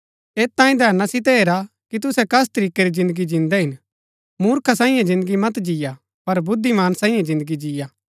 ऐत तांई धैना सितै हैरा कि तुहै कस तरीकै री जिन्दगी जिन्दै हिन मुर्खा सांईये जिन्दगी मत जिय्आ पर बुद्धिमान सांईये जिन्दगी जिय्आ